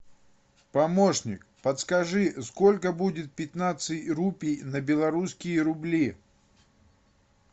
помощник подскажи сколько будет пятнадцать рупий на белорусские рубли